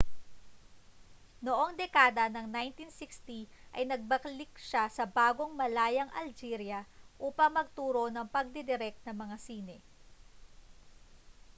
noong dekada ng 1960 ay nagbalik siya sa bagong-malayang algeria upang magturo ng pagdidirek ng mga sine